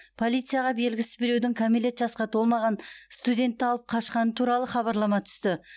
полицияға белгісіз біреудің кәмелет жасқа толмаған студентті алып қашқаны туралы хабарлама түсті